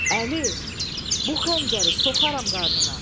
Əli, bu xəncəri soxaram qarnına.